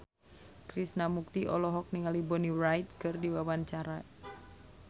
Krishna Mukti olohok ningali Bonnie Wright keur diwawancara